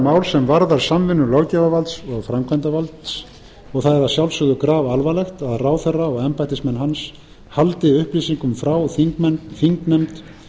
mál sem varðar samvinnu löggjafarvalds og framkvæmdarvalds og það er að sjálfsögðu grafalvarlegt að ráðherra og embættismenn hans haldi upplýsingum frá þingnefnd